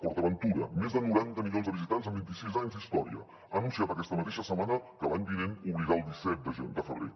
port aventura més de noranta milions de visitants en vint i sis anys d’història ha anunciat aquesta mateixa setmana que l’any vinent obrirà el disset de febrer